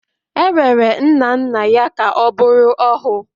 E rere nna nna ya ka ọ bụrụ ohu